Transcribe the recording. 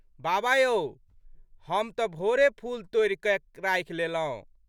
बाबा यौ! हम तऽ भोरे फूल तोड़ि कऽ राखि लेलौं।